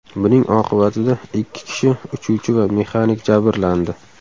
Buning oqibatida ikki kishi uchuvchi va mexanik jabrlandi.